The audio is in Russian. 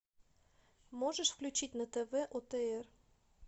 можешь включить на тв отр